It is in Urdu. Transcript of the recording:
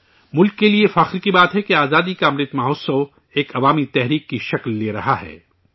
ملک کے لیے یہ فخر کی بات ہے کہ آزادی کا امرت مہوتسو ایک عوامی تحریک کی شکل اختیار کر رہا ہے